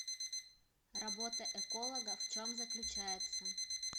работа эколога в чем заключается